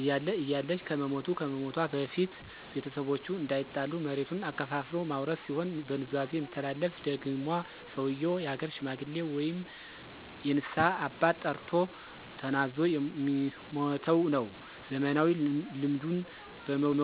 እያለ(እያለች )ከመሞቱ(ከመሞቷ)በፊት ቤተሰቦቹ እንዳይጣሉ መሬቱን አከፋፍሎ ማውረስ ሲሆን፣ በኑዛዜ የሚተላለፍ ደግሟ ሰዉየው የሀገር ሽማግሌ ወይም የንስሀ አባት ጠርቶ ተናዞ የሚሟተዉነዉ። ዘመናዊ ልምዱን በመዉሰድ አጠናክረው ሊቀጥሉ ይገባል።